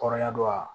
Kɔrɔya dɔ wa